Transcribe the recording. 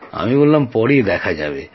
আমি বললাম পরে দেখা যাবে